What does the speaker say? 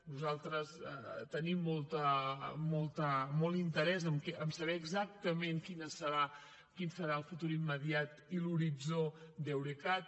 nosaltres tenim molt interès a saber exactament quin serà el futur immediat i l’horitzó d’eurecat